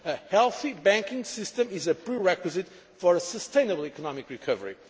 A healthy banking system is a prerequisite for a sustainable economic recovery.